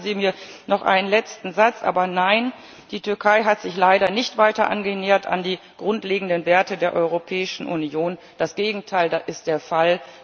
Und gestatten Sie mir noch einen letzten Satz Aber nein, die Türkei hat sich leider nicht weiter an die grundlegenden Werte der Europäischen Union angenähert das Gegenteil ist der Fall.